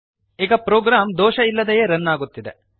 ಈಗ ಪ್ರೋಗ್ರಾಮ್ ದೋಷ ಇಲ್ಲದೆಯೇ ರನ್ ಆಗುತ್ತಿದೆ